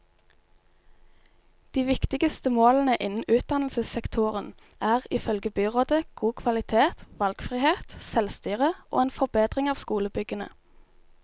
De viktigste målene innen utdannelsessektoren er, ifølge byrådet, god kvalitet, valgfrihet, selvstyre og en forbedring av skolebyggene.